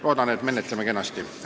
Loodan, et menetleme seda kenasti.